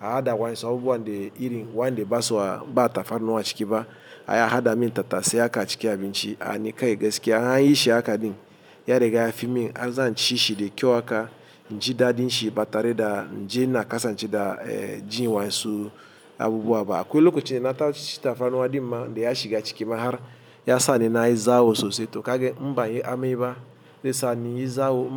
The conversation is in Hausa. A haɗa waƴansu abubuwan dai irin waƴanda ba su ba tafarnuwa a ciki ba. Ai a haɗa min tatasai haka a cikin abinci a ni kai gaskiya. An yi shi haka ɗin ya riga ya fi min har zan ci shi da kyau haka in jidaɗin shi ba tare da inje ina kasance da jin waƴansu abubuwa ba. Akwai lokaci na tashi cin tafarnuwa ɗin ma daya shiga ciki ma har ya sa ni na yi zawo sosai to kagan in ban yi amai ba dai sa ni yi zawo in ba.